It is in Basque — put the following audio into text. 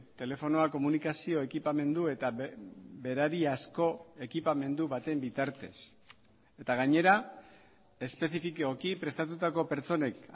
telefonoa komunikazio ekipamendu eta berari asko ekipamendu baten bitartez eta gainera espezifikoki prestatutako pertsonek